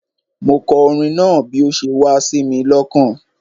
Mo kọ orin náà bi o se wá sími lokàn